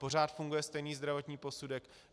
Pořád funguje stejný zdravotní posudek.